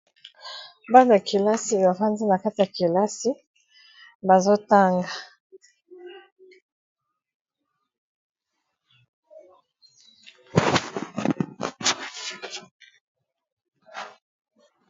bana kelasi bafandi na kati ya kelasi bazotanga